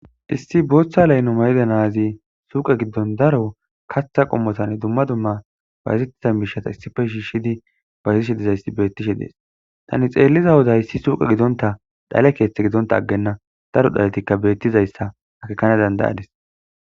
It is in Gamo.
Issi booththa layno mayda naazi suuqe giddon daro kaththa qommotanne dumma dumma bazettiza miishata issife shiishshidi baytishe dizaysti bettishe dees tani xeelliza hoda issi suuqe gidonta dhale keeththe gidonta aggenna daro dhaletikka bettizayssa akekana dandayadis.